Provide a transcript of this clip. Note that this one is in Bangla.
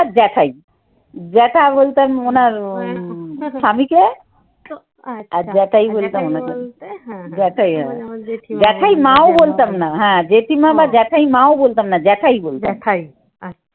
আর জ্যাঠাই। জ্যাঠা বলতাম অনার স্বামীকে হ্যাঁ জেঠিমা বা জ্যাঠায়মা ও বলতাম না জ্যাঠাই বলতাম।